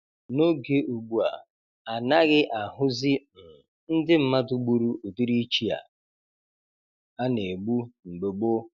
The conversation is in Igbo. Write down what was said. N'oge ugbua, anaghị ahụzị um ndị mmadụ gburu ụdịrị ichi a na-egbu mgbe gboo